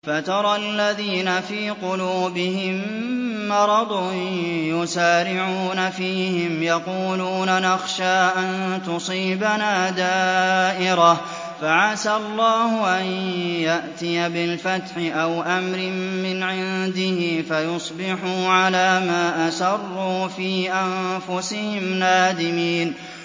فَتَرَى الَّذِينَ فِي قُلُوبِهِم مَّرَضٌ يُسَارِعُونَ فِيهِمْ يَقُولُونَ نَخْشَىٰ أَن تُصِيبَنَا دَائِرَةٌ ۚ فَعَسَى اللَّهُ أَن يَأْتِيَ بِالْفَتْحِ أَوْ أَمْرٍ مِّنْ عِندِهِ فَيُصْبِحُوا عَلَىٰ مَا أَسَرُّوا فِي أَنفُسِهِمْ نَادِمِينَ